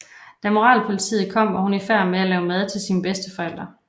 Da moralpolitiet kom var hun i færd med at lave mad til sine bedsteforældre